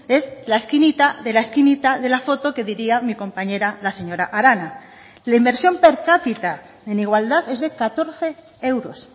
es la esquinita de la esquinita de la foto que diría mi compañera la señora arana la inversión per cápita en igualdad es de catorce euros